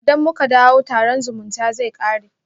Idan muka dawo, taron zumutamata zai kare